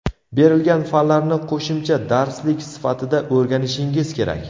Berilgan fanlarni qo‘shimcha darslik sifatida o‘rganishingiz kerak.